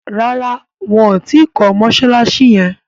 ràrá wón tí kò Mossalassi yén.